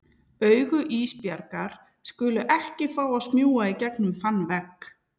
Augu Ísbjargar skulu ekki fá að smjúga í gegnum þann vegg.